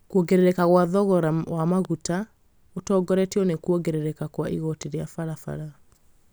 kwongerereka kwa thogora wamaguta ũtongoretio nĩ kwongerereka kwa igoti rĩa barabara